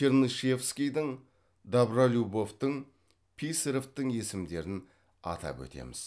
чернышевскийдің добролюбовтың писаревтің есімдерін атап өтеміз